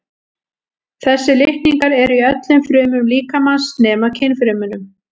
þessir litningar eru í öllum frumum líkamans nema kynfrumunum